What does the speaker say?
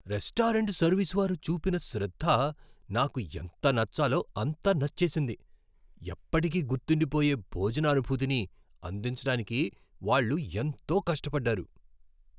Restaurant service వారు చూపిన శ్రద్ధ నాకు ఎంత నచ్చాలో అంత నచ్చేసింది, ఎప్పటికీ గుర్తుండిపోయే భోజన అనుభూతిని అందించడానికి వాళ్ళు ఎంతో కష్టపడ్డారు.